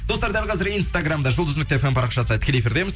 достар дәл қазір инстаграмда жұлдыз нүкте фм парақшасында тікелей эфирдеміз